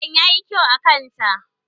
Gelen ya yi kyau a kanta